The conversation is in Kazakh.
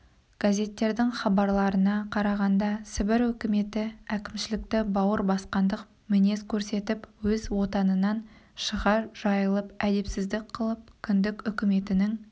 газеттердің хабарларына қарағанда сібір өкіметі әкімшілікті бауыр басқандық мінез көрсетіп өз отанынан шыға жайылып әдепсіздік қылып кіндік үкіметінің